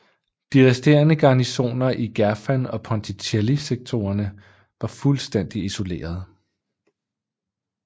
De resterende garnisoner i Gerfan og Ponticelli sektorerne var fuldstændig isolerede